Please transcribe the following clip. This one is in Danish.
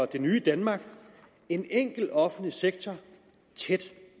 det nye danmark en enkel offentlig sektor tæt